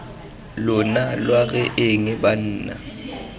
lona lwa re eng banna